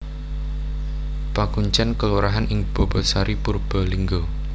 Pakuncèn kelurahan ing Bobotsari Purbalingga